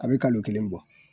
A be kalo kelen bɔ